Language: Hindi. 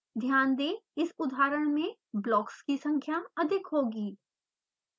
ध्यान दें इस उदाहरण में ब्लॉक्स की संख्या अधिक होगी